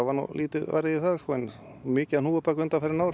lítið varið í það en mikið af hnúfubak undanfarin ár